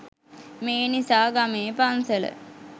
මේ නිසා ගමේ පන්සල